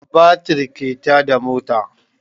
Batir ke tada mota